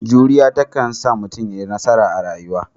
Juriya ta kansa sa mutum ya yi nasara a rayuwa.